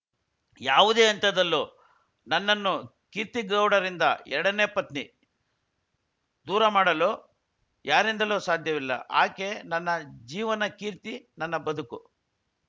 ಯಾವುದೇ ಹಂತದಲ್ಲೂ ನನ್ನನ್ನು ಕೀರ್ತಿಗೌಡರಿಂದ ಎರಡನೇ ಪತ್ನಿ ದೂರ ಮಾಡಲು ಯಾರಿಂದಲೂ ಸಾಧ್ಯವಿಲ್ಲ ಆಕೆ ನನ್ನ ಜೀವನ ಕೀರ್ತಿ ನನ್ನ ಬದುಕು